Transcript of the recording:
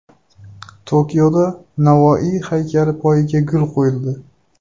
Tokioda Navoiy haykali poyiga gul qo‘yildi.